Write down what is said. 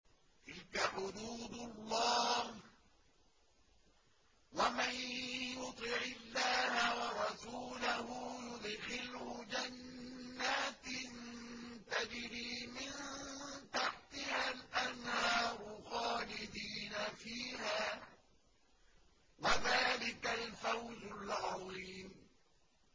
تِلْكَ حُدُودُ اللَّهِ ۚ وَمَن يُطِعِ اللَّهَ وَرَسُولَهُ يُدْخِلْهُ جَنَّاتٍ تَجْرِي مِن تَحْتِهَا الْأَنْهَارُ خَالِدِينَ فِيهَا ۚ وَذَٰلِكَ الْفَوْزُ الْعَظِيمُ